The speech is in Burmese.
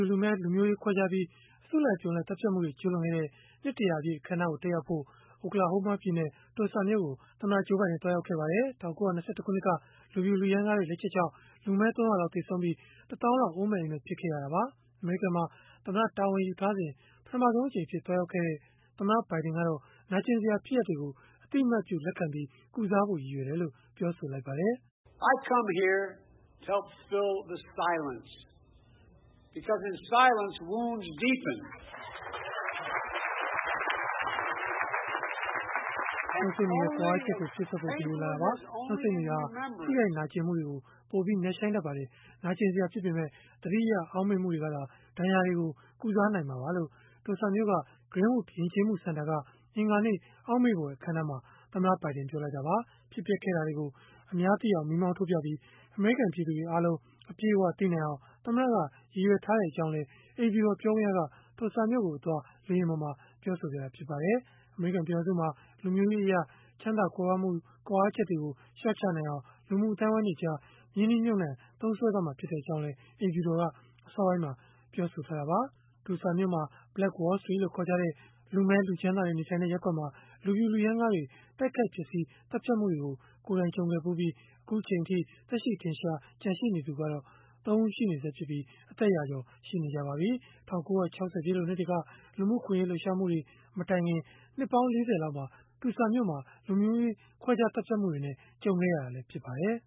ူ၊ လူမည်းလူမျိုးရေး ခွဲခြားပြီး အစုလိုက်အပြုံလိုက် သတ်ဖြတ်မှုတွေ ကျုးလွန်ခဲ့တဲ့ နှစ် ၁၀၀ ပြည့် အခမ်းအနား တက်ရောက်ဖို့ Oklahoma ပြည်နယ် Tulsa မြို့ကို သမ္မတ Joe Biden သွားရောက်ခဲ့ပါတယ်။ ၁၉၂၁ ခုနှစ်က လူဖြူလူရမ်းကားတွေ လက်ချက်ကြောင့် လူမည်း ၃၀၀ လောက် သေဆုံးပြီး၊ ၁ သောင်းလောက် အိုးမဲ့အိမ်မဲ့ ဖြစ်ခဲ့ရတာပါ။ အမေရိကန်မှာ သမ္မတတာဝန် ယူထားစဉ် ပထမဆုံးအကြိမ်အဖြစ် သွားရောက်ခဲ့တဲ့ သမ္မတ ဘိုင်ဒင်ကတော့ နာကျင်စရာ ဖြစ်ရပ်တွေကို အသိအမှတ်ပြု လက်ခံပြီး ကုစားဖို့ ရည်ရွယ်တယ်လို့ ပြောပါတယ်။ “နှုတ်ဆိတ်နေတဲ့ ကွာဟချက်ကို ဖြည့်စွက်ဖို့ ဒီကိုလာခဲ့တာပါ၊ နှုတ်ဆိတ်နေတာဟာ ထိခိုက်နာကျင်မှုတွေ ပိုပြီးနက်ရှိုင်းတတ်ပါတယ်။ နာကျင်စရာဖြစ်ပေမဲ့ သတိရအောက်မေ့မှုတွေကသာ ဒဏ်ရာတွေကို ကုစားနိုင်မှာပါ။” လို့ Tulsa မြို့က Greenwood ယဉ်ကျေးမှု စင်တာက အင်္ဂါနေ့ အောက်မေ့ဖွယ်အခမ်းအနားမှာ သမ္မတ ဘိုင်ဒင် ပြောလိုက်တာပါ။ ဖြစ်ပျက်ခဲ့တာတွေကို အများသိအောင် မီးမောင်းထိုးပြပြီး၊ အမေရိကန် ပြည်သူတွေအားလုံး အပြည့်အဝသိနိုင်အောင် သမ္မတက ရည်ရွယ်ထားကြောင်းလည်း အိမ်ဖြူတော် ပြောခွင့်ရက Tulsa မြို့ကိုအသွား လေယာဉ်ပေါ်မှာ ပြောဆိုခဲ့ပါတယ်။ အမေရိကန် ပြည်ထောင်စုမှာ လူမျိုးရေးအရ ချမ်းသာကြွယ်ဝမှုတွေ ကွာဟချက်ကို လျှော့ချနိုင်အောင် လူမှုအသိုင်းအဝန်းတွေကြား ရင်းနှီးမြှုပ်နှံ သုံးစွဲသွားမှာ ဖြစ်ကြောင်းလည်း အိမ်ဖြူတော်က အစောပိုင်းမှာ ပြောဆိုထားတာပါ။ Tulsa မြို့က Black Wall Street လို့ ခေါ်ကြတဲ့ လူမည်း လူချမ်းသာတွေ နေထိုင်တဲ့ ရပ်ကွက်မှာ လူဖြူလူရမ်းကားတွေ တိုက်ခိုက်ဖျက်ဆီး သတ်ဖြတ်မှုတွေကို ကိုယ်တိုင် ကြုံခဲ့ဖူးပြီး အခုအချိန်အထိ သက်ရှိထင်ရှား ရှိနေသူကတော့ ၃ ဦး ကျန်နေဆဲဖြစ်ပြီး အသက်ရာကျော် ရှိနေကြပါပြီ။ ၁၉၆၀ ပြည့်လွန်နှစ်တွေက လူမှုအခွင့်အရေး လှုပ်ရှားမှုတွေ မတိုင်ခင် နှစ်ပေါင်း ၄၀ လောက်မှာ Tulsa မြို့က လူမျိုးရေးခွဲခြားသတ်ဖြတ်မှုနဲ့ ကြုံခဲ့ရတာလည်း ဖြစ်ပါတယ်